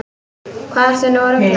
Hvað ertu nú að rugla!